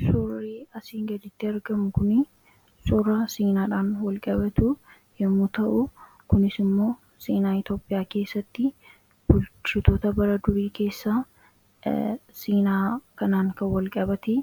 Suurri asii gaditti argamu kuni suura seenaadhaan wal qabatu yommuu ta'u kunis immoo seenaa Itoopiyaa keessatti bulchitoota bara durii keessaa seenaa kanaan kan wal qabate